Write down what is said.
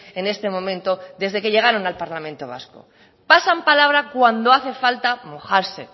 en este momento desde que llegaron al parlamento vasco pasan palabra cuando hace falta mojarse